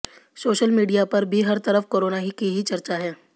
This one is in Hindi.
सोशल मीडिया पर भी हर तरफ कोरोना की ही चर्चा है